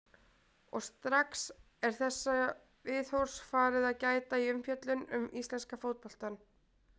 Og strax er þessa viðhorfs farið að gæta í umfjöllun um íslenska fótboltann.